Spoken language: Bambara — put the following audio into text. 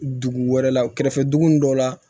Dugu wɛrɛ la kɛrɛfɛ dugu ninnu dɔw la